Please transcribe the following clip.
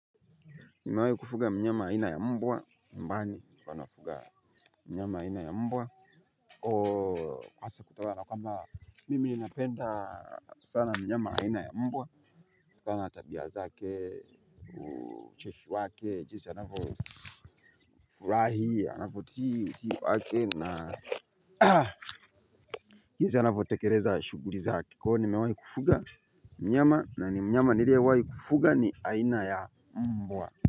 Nimewahi kufuga mnyama aina ya mbwa nyumbani huwa nafuga mnyama aina ya mbwa kwamba mimi ninapenda sana mnyama aina ya mbwa. Kwa na tabia zake ucheshi wake jinsi anavo furahiii, anavyo tii na jinsi anavyo tekeleza shughuli zake kwa hiyo nimewahi kufuga mnyama na ni mnyama niliyewahi kufuga ni aina ya mbwa.